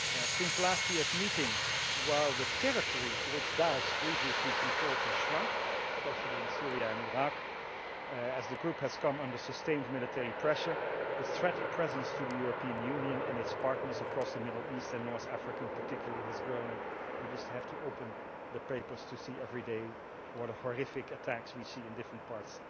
Since last year's meeting, while the territory which Daesh previously controlled has shrunk, especially in Syria and Iraq as the group has come under sustained military pressure, the threat it presents to the European Union and its partners across the Middle East and North Africa particularly has grown, and we just have to open the papers to see every day what horrific attacks we see in different parts